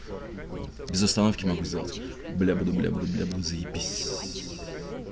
вот без остановки могу сделать бля буду бля буду бля буду заебись